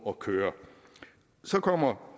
at køre så kommer